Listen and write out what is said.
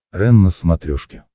рен на смотрешке